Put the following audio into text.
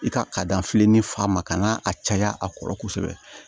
I ka ka da fili ni fa ma kan ka a caya a kɔrɔ kosɛbɛ